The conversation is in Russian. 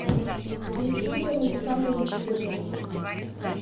александр александрович федоров